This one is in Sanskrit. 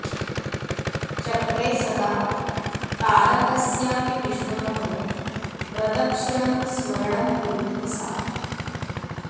चक्रे सदा तारकस्यापि विष्णोः प्रदक्षिणं स्मरणं कुर्वती सा